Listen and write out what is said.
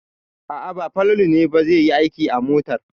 A'a, ba Falalu ne ba zai yi aiki a motar.